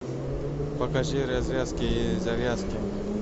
покажи развязки и завязки